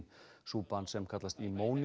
súpan sem kallast